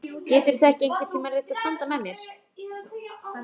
Geturðu þá ekki einhvern tíma reynt að standa með mér?